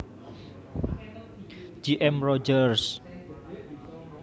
J M Rogers